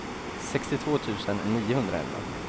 sextiotvå tusen niohundraelva